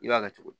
I b'a kɛ cogo di